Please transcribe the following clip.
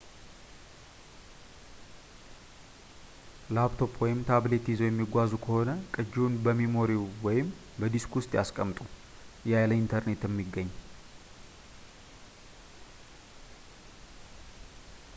ላፕቶፕ ወይም ታብሌት ይዘው የሚጓዙ ከሆነ፣ ቅጂውን በሜሞሪው ወይም በዲስኩ ውስጥ ያስቀምጡ ያለ ኢንተርኔት የሚገኝ